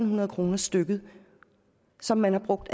hundrede kroner stykket som man har brugt